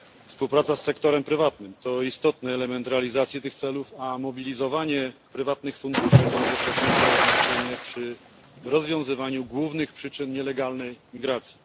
Współpraca z sektorem prywatnym to istotny element realizacji tych celów, a mobilizowanie prywatnych funduszy ma zasadnicze znaczenie przy rozwiązywaniu głównych przyczyn nielegalnej migracji.